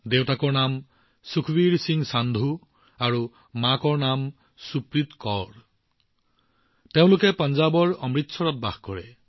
দেউতাকৰ নাম সুখবীৰ সিং সান্ধুজী আৰু মাতৃৰ নাম সুপ্ৰীত কৌৰ জী এই পৰিয়ালটো পঞ্জাৱৰ অমৃতসৰত বাস কৰে